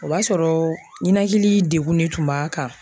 O b'a sɔrɔ ninakili degunnen tun b'a kan.